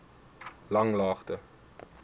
langlaagte